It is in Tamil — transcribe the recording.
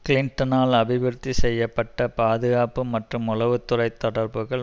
கிளிண்டனால் அபிவிருத்தி செய்ய பட்ட பாதுகாப்பு மற்றும் உளவு துறை தொடர்புகள்